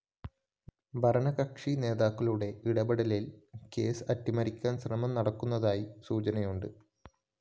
ഭരണകക്ഷി നേതാക്കളുടെ ഇടപ്പെടലില്‍ കേസ് അട്ടിമറിക്കാന്‍ ശ്രമം നടക്കുന്നതായും സൂചനയുണ്ട്